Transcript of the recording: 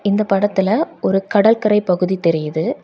இந்த படத்துல ஒரு கடல்கரை பகுதி தெரியுது.